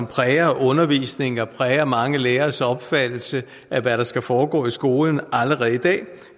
præger undervisningen og præger mange læreres opfattelse af hvad der skal foregå i skolen